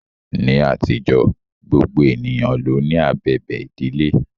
Ní àtijọ́, gbogbo ènìyàn ló ní abẹ̀bẹ̀ ìbílẹ̀.